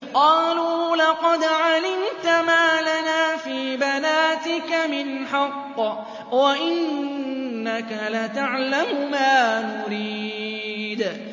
قَالُوا لَقَدْ عَلِمْتَ مَا لَنَا فِي بَنَاتِكَ مِنْ حَقٍّ وَإِنَّكَ لَتَعْلَمُ مَا نُرِيدُ